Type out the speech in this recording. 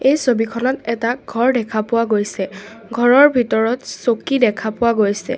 এই ছবিখনত এটা ঘৰ দেখা পোৱা গৈছে ঘৰৰ ভিতৰত চকী দেখা পোৱা গৈছে।